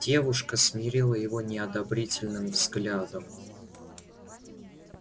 девушка смерила его неодобрительным взглядом